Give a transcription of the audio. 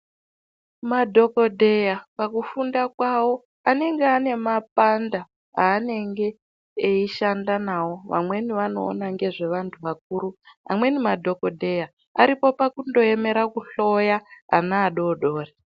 Madhokodheya pakufunda kwawo anenge ane mapanda aanenge eishanda nawo vamweni vanoona ngezvevantu vakuru amweni madhokodheya aripo pakundoemera kuhloya ana adodori.